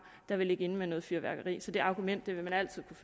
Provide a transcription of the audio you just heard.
der vil ligge inde med noget fyrværkeri så det argument vil man altid